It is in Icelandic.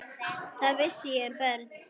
Hvað vissi ég um börn?